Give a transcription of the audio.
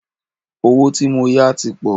Owó tí mó yá tí pọ̀.